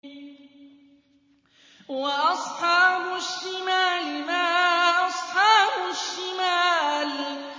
وَأَصْحَابُ الشِّمَالِ مَا أَصْحَابُ الشِّمَالِ